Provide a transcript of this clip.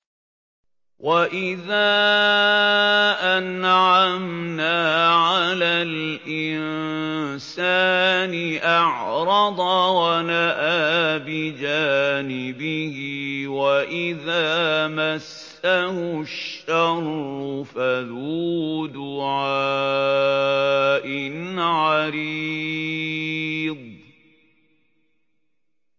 وَإِذَا أَنْعَمْنَا عَلَى الْإِنسَانِ أَعْرَضَ وَنَأَىٰ بِجَانِبِهِ وَإِذَا مَسَّهُ الشَّرُّ فَذُو دُعَاءٍ عَرِيضٍ